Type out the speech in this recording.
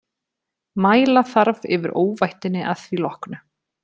Mæla þarf yfir óvættinni að því loknu.